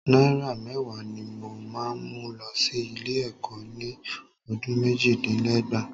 Náírà mẹ́wàá ni mo máa mú lọ sí ilé-ẹ̀kọ́ ni ọdún méjìdínlẹ́gbàá.